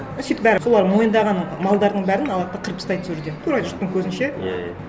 сөйтіп бәрі солар мойындаған малдардың бәрін алады да қырып тастайды сол жерде тура жұрттың көзінше иә иә